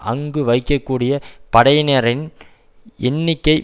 அங்கு வைக்கக்கூடிய படையினரின் எண்ணிக்கை